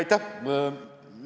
Aitäh!